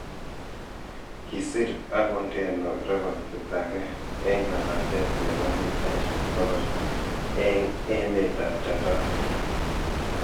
Kisiir agondeno rekotit age eng labatetab nebo mitaishek bogol eng emetab Japan